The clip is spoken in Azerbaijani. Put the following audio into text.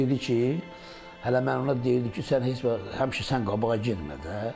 O dedi ki, hələ mən ona deyirdi ki, sən heç vaxt həmişə sən qabağa getmə də.